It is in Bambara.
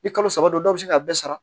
Ni kalo saba do dɔw bɛ se k'a bɛɛ sara